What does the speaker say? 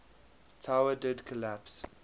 tower did collapse